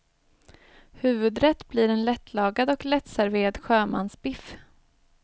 Huvudrätt blir en lättlagad och lättserverad sjömansbiff.